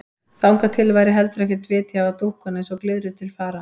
Þangað til væri heldur ekkert vit í að hafa dúkkuna eins og glyðru til fara.